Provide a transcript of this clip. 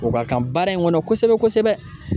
O ka kan baara in kɔnɔ kosɛbɛ kosɛbɛ